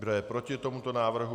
Kdo je proti tomuto návrhu?